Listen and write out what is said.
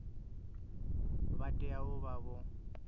vha tea u vha vho